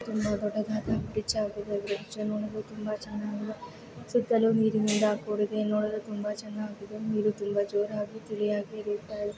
ತುಂಬ ದೊಡ್ಡದಾದ ಬ್ರಿಜ್ ಆಗಿದೆ. ಬ್ರಿಜ್ ನೋಡಲು ತುಂಬಾ ಚನ್ನಾಗಿದೆ. ಸುತ್ತಲೂ ನೀರಿನಿಂದ ಕೂಡಿದೆ ನೋಡಲು ತುಂಬಾ ಚನ್ನಾಗಿದೆ ನೀರು ತುಂಬಾ ಜೋರಾಗಿ ತಿಳಿ ಆಗಿದೆ.